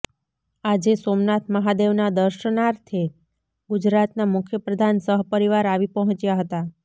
આજે સોમનાથ મહાદેવના દર્શનાથે ગુજરાતના મુખ્યપ્રધાન સહપરિવાર આવી પહોંચ્યા હતા